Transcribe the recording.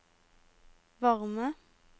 varme